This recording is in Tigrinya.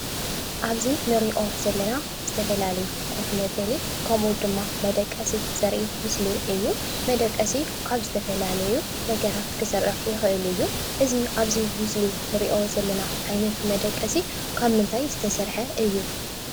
ኣብዚ እንሪኦ ዘለና ዝተፈላለዩ ኮፍ መበሊ ከምኡ ድማ መደቀሲ ዘርኢ ምስሊ እዩ። መደቀሲ ካብ ዝተፈላለዩ ነገራት ክስራሕ ይኽእል እዩ። እዚ ኣብዚ ምስሊ እንሪኦ ዘለና ዓይነት መደቀሲ ካብ ምንታይ ዝሰረሐ እዩ?